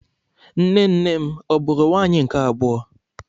Nne nnem ọ bụụrụ nwaanyị nke abụọ?